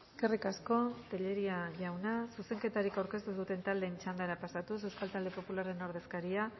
eskerrik asko telleria jauna zuzenketarik aurkeztu ez duten taldeen txandara pasatuz euskal talde popularraren ordezkaria